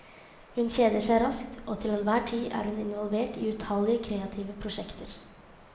Hun kjeder seg raskt, og til enhver tid er hun involvert i utallige kreative prosjekter.